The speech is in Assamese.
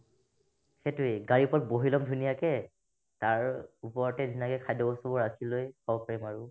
সেটোয়ে গাড়ীৰ ওপৰত বহি লম ধুনীয়াকে তাৰ ওপৰতে ধুনীয়াকৈ খাদ্যবস্তুবোৰ আতকি লৈ খাব পাৰিম আৰু